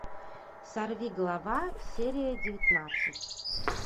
сорвиголова серия девятнадцать